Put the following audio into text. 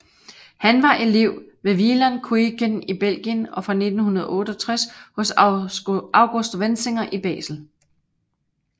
Han var elev ved Wieland Kuijken i Belgien og fra 1968 hos August Wenzinger i Basel